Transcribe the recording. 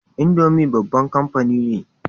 Indomie babban kamfani ne